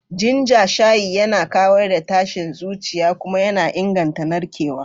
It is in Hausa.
Ginger shayi yana kawar da tashin zuciya kuma yana inganta narkewa.